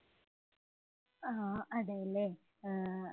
ആഹ് അതെ അല്ലേ? ആഹ്